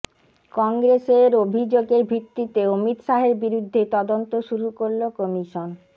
কংগ্রেসের অভিযোগের ভিত্তিতে অমিত শাহের বিরুদ্ধে তদন্ত শুরু করল কমিশন